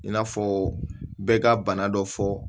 In'a fɔ bɛɛ ka bana dɔ fɔ